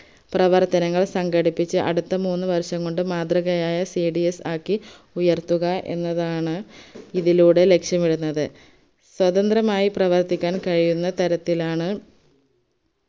പ്രവർത്തനങ്ങൾ സംഘടിപ്പിച് അടുത്ത മൂന്ന് വർഷംകൊണ്ട് മാതൃകയായ cds ആക്കി ഉയർത്തുക എന്നതാണ് ഇതിലൂടെ ലക്ഷ്യമിടുന്നത്. സ്വതന്ത്രമായി പ്രവർത്തിക്കാൻ കഴിയുന്ന തരത്തിലാണ്